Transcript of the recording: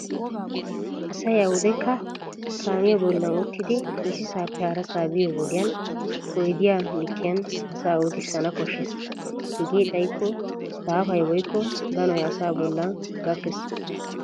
Asay awudekka kaamiya bollan uttidi issisaappe harasaa biyo wodiyan oydiya likkiyan asaa utissana koshshes. Hegee xayikko daafay woykko danoy asaa bollan gakkes.